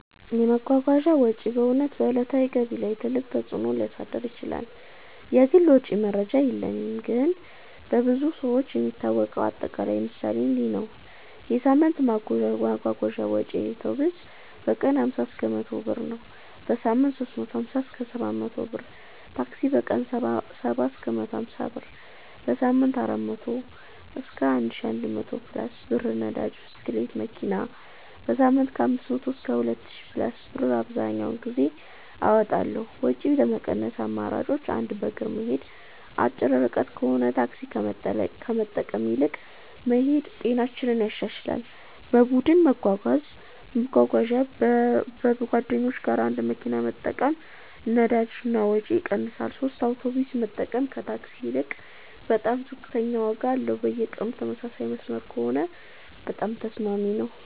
የመጓጓዣ ወጪ በእውነት በዕለታዊ ገቢ ላይ ትልቅ ተፅእኖ ሊያሳድር ይችላል። እኔ የግል ወጪ መረጃ የለኝም ነገር ግን በብዙ ሰዎች የሚታወቀው አጠቃላይ ምሳሌ እንዲህ ነው፦ የሳምንት የመጓጓዣ ወጪዬ አውቶቡስ: በቀን 50–100 ብር → በሳምንት 350–700 ብር ታክሲ: በቀን 70–150 ብር → በሳምንት 400–1100+ ብር ነዳጅ (ብስክሌት/መኪና): በሳምንት 500–2000+ ብር አብዘሀኛውን ጊዜ አወጣለሁ ወጪ ለመቀነስ አማራጮች 1. በእግር መሄድ አጭር ርቀት ከሆነ ታክሲ ከመጠቀም ይልቅ መሄድ ጤናንም ያሻሽላል 2. በቡድን መጓጓዣ ከጓደኞች ጋር አንድ መኪና መጠቀም ነዳጅ እና ወጪ ይቀንሳል 3 የአውቶቡስ መጠቀም ከታክሲ ይልቅ በጣም ዝቅተኛ ዋጋ አለው በየቀኑ ተመሳሳይ መስመር ከሆነ በጣም ተስማሚ ነው